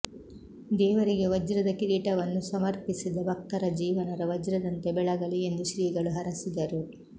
ದೇವರಿಗೆ ವಜ್ರದ ಕಿರೀಟವನ್ನು ಸಮರ್ಪಿಸಿದ ಭಕ್ತರ ಜೀವನರ ವಜ್ರದಂತೆ ಬೆಳಗಲಿ ಎಂದು ಶ್ರೀಗಳು ಹರಸಿದರು